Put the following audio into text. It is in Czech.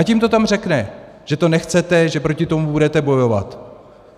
Ať jim to tam řekne, že to nechcete, že proti tomu budete bojovat.